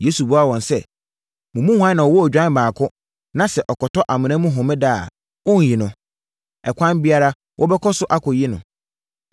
Yesu buaa wɔn sɛ, “Mo mu hwan na ɔwɔ odwan baako na sɛ ɔkɔtɔ amena mu Homeda a, ɔrenyi no? Ɛkwan biara so wobɛkɔ akɔyi no.